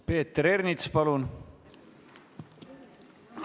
Peeter Ernits, palun!